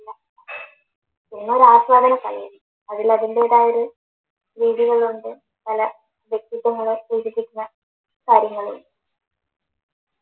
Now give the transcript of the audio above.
cinema ഒരു ആസ്വാദന കലയാണ് അതിൽ അതിൻറെതായൊരു രീതികളുണ്ട്, പല വ്യക്തിത്വങ്ങൾ സൂചിപ്പിക്കുന്ന കാര്യങ്ങളും